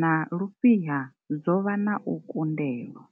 na lufhiha dzo vha na u kundelwa.